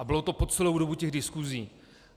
A bylo to po celou dobu těch diskusí.